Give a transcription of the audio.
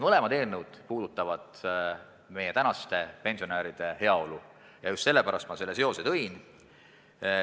Mõlemad eelnõud puudutavad meie tänaste pensionäride heaolu, just sellepärast ma selle seose tõin.